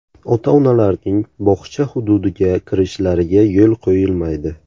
Ota-onalarning bog‘cha hududiga kirishlariga yo‘l qo‘yilmaydi.